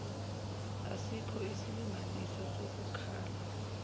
asikho isilinganiso sokukala